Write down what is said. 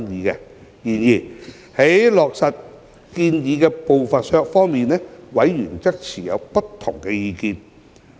然而，對於落實建議的步伐，委員則持不同意見。